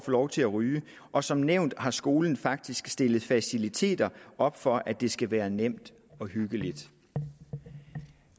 lov til at ryge og som nævnt har skolen faktisk stillet faciliteter op for at det skal være nemt og hyggeligt